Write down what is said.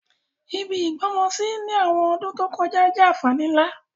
Ibi ìgbọ́mọsí ni àwọn ọdún to kojá jẹ́ ànfàní nlá.